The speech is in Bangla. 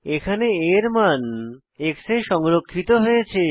এখানে a এর মান x এ সংরক্ষিত হয়েছে